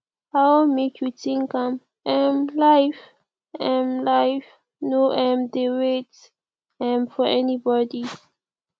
i wan make you think am um life um life no um dey wait um for anybody